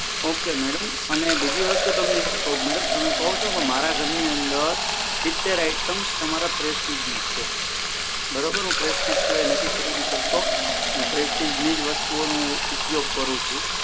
okay madam અને બીજી વસ્તુ તમને એ કહું મેડમ તમે કહો છો ને પણ મારા ઘરમાં સીતેર આઈટમસ તમારા પ્રેસ્ટીજની જ છે હું પ્રેસ્ટીજ સિવાય નથી ખરીદી કરતો અને પ્રેસ્ટીજની જ વસ્તુઓનું ઉપયોગ કરું છુ